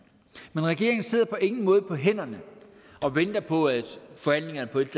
men regeringen sidder på ingen måde på hænderne og venter på at forhandlingerne på et